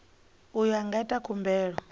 uyo a nga ita khumbelo